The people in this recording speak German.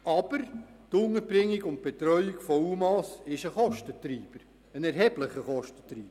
Aber die Unterbringung und Betreuung von UMA ist ein erheblicher Kostentreiber.